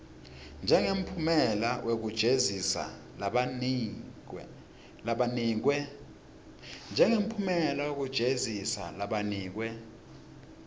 njengemphumela wekujeziswa lanikwe